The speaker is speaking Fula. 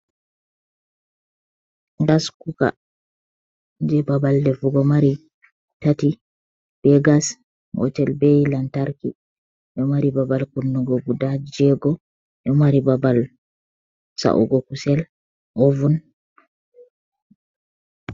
Gaskuka je babal defugo mari tati; be gas gotel, bei lantarki. Ɗo mari babal kunnugo guda jego, ɗo mari babal sa’ugo kusel ovun.